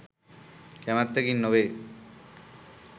කැමැත්තකින් නොවේ.